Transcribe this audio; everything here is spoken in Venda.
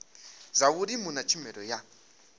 zwa vhulimi na tshumelo ya